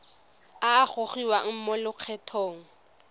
a a gogiwang mo lokgethong